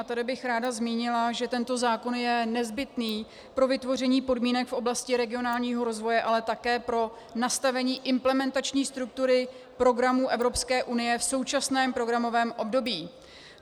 A tady bych ráda zmínila, že tento zákon je nezbytný pro vytvoření podmínek v oblasti regionálního rozvoje, ale také pro nastavení implementační struktury programů Evropské unie v současném programovém období.